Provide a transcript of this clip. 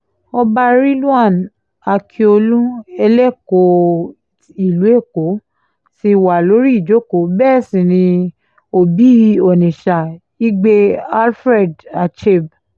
ọba rilàn akíọ̀lù ẹlẹ́kọ̀ọ́ ìlú èkó ti wà lórí ìjókòó bẹ́ẹ̀ sí ni òbí onisha igbe alfrerd acheb